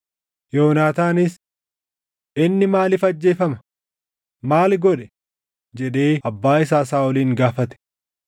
Yoonaataanis, “Inni maaliif ajjeefama? Maali godhe?” jedhee abbaa isaa Saaʼolin gaafate.